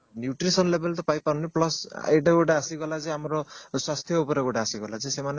nutrition level ତ ପାଇ ପାରୁନି plus ଏଇଟା ଗୋଟେ ଆସିଗଲା ଯେ ଆମର ସ୍ୱାସ୍ଥ୍ୟ ଉପରେ ଗୋଟେ ଆସିଗଲା ଯେ ସେମାନେ